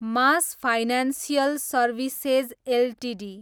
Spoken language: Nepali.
mass financial services Ltd